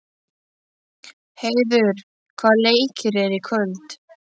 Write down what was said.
Heiður, hvaða leikir eru í kvöld?